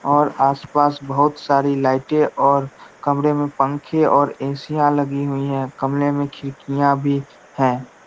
और आस-पास बहुत सारी लाइटें और कमरे में पंखे और ए.सी. लगी हुई है कमरे में खिड़कियां भी हैं।